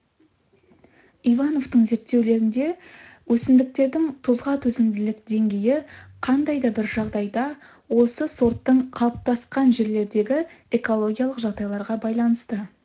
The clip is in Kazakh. ивановтың зерттеулерінде өсімдіктердің тұзға төзімділік деңгейі қандай да бір жағдайда осы сорттың қалыптасқан жерлердегі экологиялық жағдайларға байланысты